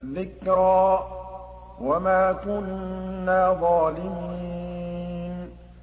ذِكْرَىٰ وَمَا كُنَّا ظَالِمِينَ